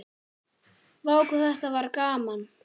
Vá hvað þetta var gaman!!